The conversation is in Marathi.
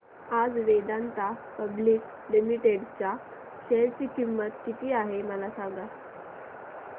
आज वेदांता पब्लिक लिमिटेड च्या शेअर ची किंमत किती आहे मला सांगा